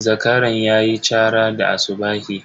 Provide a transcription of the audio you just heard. Zakaran ya yi chara da asubahi.